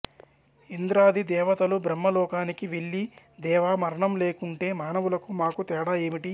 ఇంద్రాది దేవతలు బ్రహ్మ లోకానికి వెళ్ళి దేవా మరణం లేకుంటే మానవులకు మాకు తేడా ఏమిటి